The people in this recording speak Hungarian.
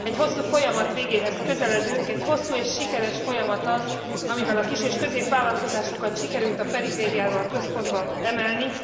Egy hosszú folyamat végéhez közeledünk, egy hosszú és sikeres folyamat az, amivel a kis és középvállalkozásokat sikerült a perifériáról a központba emelni.